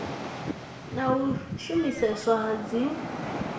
na u shumiseswa ha dzin